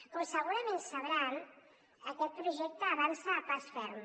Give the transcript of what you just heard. com segurament deuen saber aquest projecte avança a pas ferm